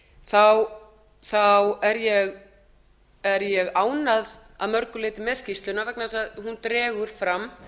þá er ég ánægð að mörgu leyti með skýrsluna vegna þess að hún dregur fram